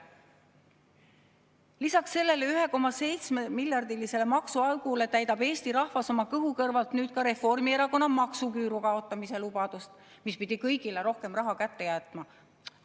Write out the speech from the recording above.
Lisaks sellele 1,7‑miljardilisele maksuaugule täidab Eesti rahvas oma kõhu kõrvalt nüüd ka Reformierakonna maksuküüru kaotamise lubadust, mis pidi kõigile rohkem raha kätte jätma.